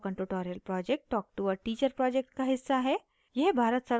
spoken tutorial project talk to a teacher project का हिस्सा है